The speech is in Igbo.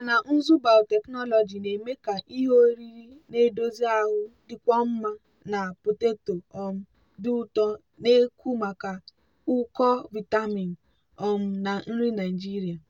nkà na ụzụ biotechnology na-eme ka ihe oriri na-edozi ahụ dịkwuo mma na poteto um dị ụtọ na-ekwu maka ụkọ vitamin um na nri nigeria.